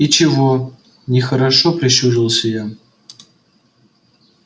и чего нехорошо прищурилась я